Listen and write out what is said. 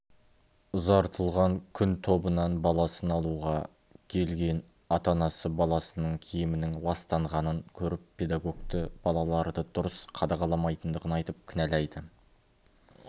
ұзартылған күн тобынан баласын алуға келген ата-анасы баласының киімінің ластанғанын көріп педагогты балаларды дұрыс қадағаламайтындығын айтып кінәлайды